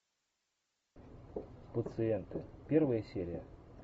пациенты первая серия